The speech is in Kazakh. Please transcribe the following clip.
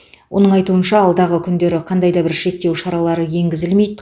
оның айтуынша алдағы күндері қандай да бір шектеу шаралары енгізілмейді